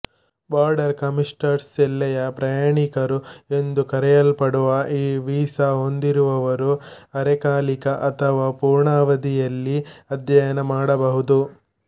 border ಕಮ್ಯೂಟರ್ಸ್ಎಲ್ಲೆಯ ಪ್ರಯಾಣಿಕರು ಎಂದು ಕರೆಯಲ್ಪಡುವ ಈ ವೀಸಾ ಹೊಂದಿರುವವರು ಅರೆಕಾಲಿಕ ಅಥವಾ ಪೂರ್ಣಾವಧಿಯಲ್ಲಿ ಅಧ್ಯಯನ ಮಾಡಬಹುದು